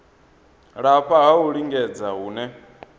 lafha ha u lingedza hune